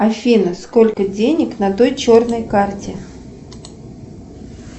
афина сколько денег на той черной карте